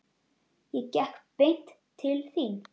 Ég gekk beint til þín.